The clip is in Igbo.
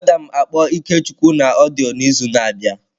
Agam akpọ Ikechukwu na odiyo n'izu na abia.